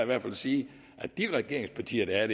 hvert fald sige at de regeringspartier der er